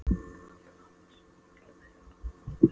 Valda pabba sínum og öllum fyrir norðan vonbrigðum.